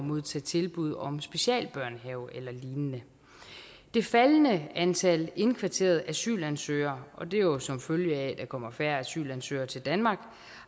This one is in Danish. modtage tilbud om specialbørnehave eller lignende det faldende antal indkvarterede asylansøgere og det er jo som følge af at der kommer færre asylansøgere til danmark